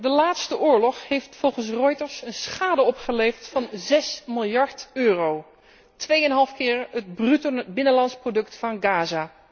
De laatste oorlog heeft volgens Reuters een schade opgeleverd van 6 miljard euro, tweeëneenhalf keer het bruto binnenlands product van Gaza.